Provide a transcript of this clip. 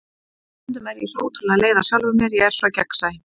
Stundum er ég svo ótrúlega leið á sjálfri mér, ég er svo gegnsæ.